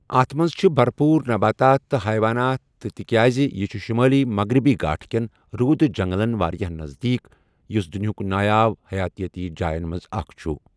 اَتھ منٛز چھِ بَرپوٗر نباتات تہٕ حیوانات تہِ تِکیٛازِ یہِ چھُ شُمٲلی مغربی گھاٹ کٮ۪ن روٗدٕ جنگلَن واریٛاہ نزدیٖک، یُس دُنیِہٕک نایاب حیاتیٲتی جایَن منٛز اکھ چھُ۔